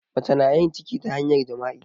Mace na yin ciki ta hanyar jima'i.